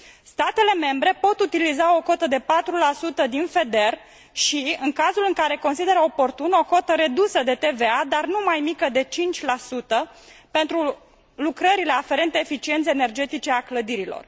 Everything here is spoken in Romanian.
Statele membre pot utiliza o cotă de 4 din FEDER și, în cazul în care consideră oportun, o cotă redusă de TVA, dar nu mai mică de 5 pentru lucrările aferente eficienței energetice a clădirilor.